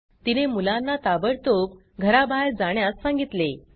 तिने मुलांना ताबडतोब घराबाहेर जाण्यास सांगितले